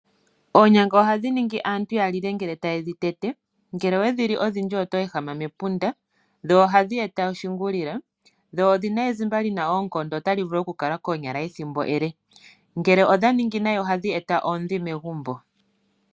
Oonyanga ohadhi ningi aantu ya lile uuna taye dhi tete, ngele owe dhi li odhindji oto ehama mepunda. Dho ohadhi eta oshingulila, dho odhi na ezimba li na oonkondo otali vulu okukala koonyala ethimbo ele. Ngele odha ningi nayi otadhi eta oondhi megumbo.